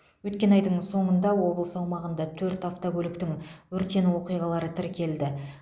өткен айдың соңында облыс аумағында төрт автокөліктің өртену оқиғалары тіркелді